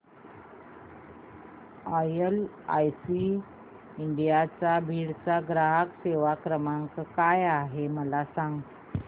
LIC India Beed चा ग्राहक सेवा क्रमांक काय आहे मला सांग